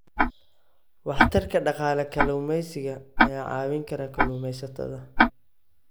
Waxtarka Dhaqaale Kalluumeysiga ayaa caawin kara kalluumeysatada.